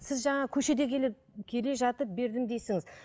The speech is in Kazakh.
сіз жаңа көшеде келіп келе жатып бердім